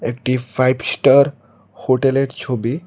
এটি five star হোটেলের ছবি।